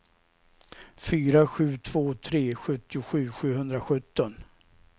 fyra sju två tre sjuttiosju sjuhundrasjutton